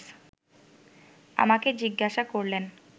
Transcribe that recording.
আমাকে জিজ্ঞাসা করলেন